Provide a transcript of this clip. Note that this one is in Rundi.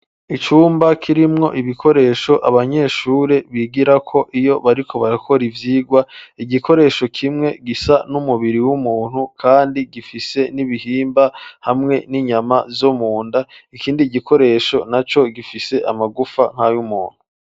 Icumba, kirimwo ibikoresho, abanyeshure bigirako, iyo bariko barakora ivyigwa; igikoresho kimwe, gisa n'umubiri w'umuntu, kandi gifise n'ibihimba, hamwe n'inyama zo munda; ikindi gikoresho naco, gifise amagufa, nk'ay'umuntu.